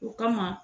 O kama